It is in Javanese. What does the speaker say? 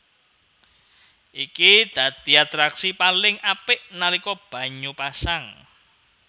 Iki dadi atraksi paling apik nalika banyu pasang